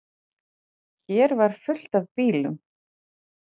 Hér var fullt af bílum.